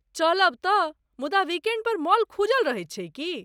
चलब तँ, मुदा वीकेण्ड पर मॉल खुजल रहैत छै की?